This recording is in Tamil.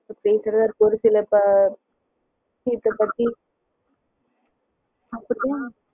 இப்போ பேசுறது ஒரு சிலர் கிட்ட